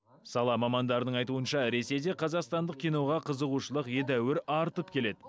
сала мамандарының айтуынша ресейде қазақстандық киноға қызығушылық едәуір артып келеді